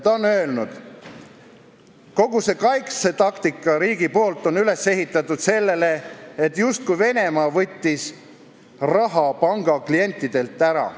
Ta on öelnud: "Kogu see kaitsetaktika riigi poolt on üles ehitatud sellele, et justkui Venemaa võttis raha panga klientidelt ära.